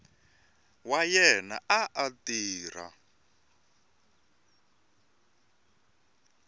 wa yena a a tirha